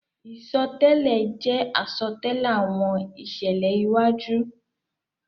Isọtẹlẹ jẹ asọtẹlẹ awọn iṣẹlẹ iwaju.